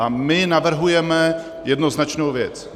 A my navrhujeme jednoznačnou věc.